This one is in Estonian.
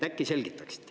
Äkki selgitaksite.